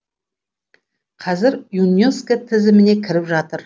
қазір юнеско тізіміне кіріп жатыр